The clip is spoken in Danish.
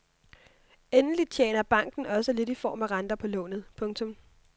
Endelig tjener banken også lidt i form af renter på lånet. punktum